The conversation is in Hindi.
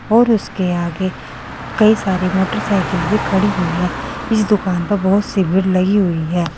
और उसके आगे कई सारी मोटरसाइकिल भी खड़ी हुई है इस दुकान पर बहुत सी भीड़ लगी हुई है।